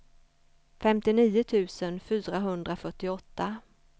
femtionio tusen fyrahundrafyrtioåtta